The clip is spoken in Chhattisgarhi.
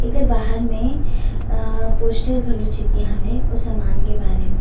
एकर बाहर में अ पोस्टर घलो चिपके हावे ओ सामान के बारे में--